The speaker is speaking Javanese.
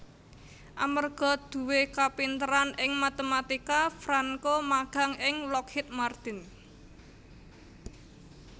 Amarga duwé kapinteran ing matematika Franco magang ing Lockheed Martin